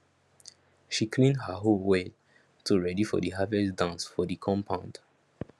she clean her hoe well to ready for the harvest dance for the compound